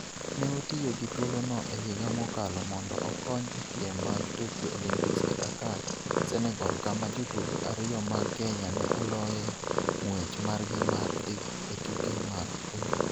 Ne otiyo gi thuolono e higa mokalo mondo okony e piem mag Tokyo Olympics e Dakar, Senegal kama jotugo ariyo mag Kenya ne oloyoe ng'wech margi mar dhi e tuke mag oro.